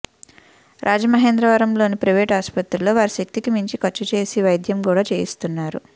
రాజమహేంద్రవరంలోని private ఆసుపత్రిలో వారి శక్తికి మించి ఖర్చు చేసి వైద్యం కూడా చేయిస్తున్నారు